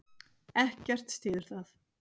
Ekkert styður það.